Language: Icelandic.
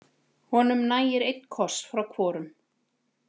Honum nægir einn koss frá hvorum.